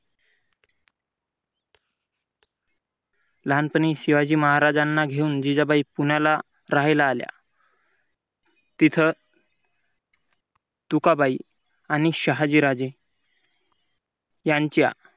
लहानपणी शिवाजी महाराजांना घेऊन जिजाबाई पुण्याला राहायला आल्या. तिथं तुका बाई आणि शहाजीराजे यांच्या